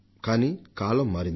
కానీ కాలం మారింది